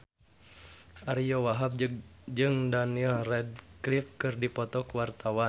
Ariyo Wahab jeung Daniel Radcliffe keur dipoto ku wartawan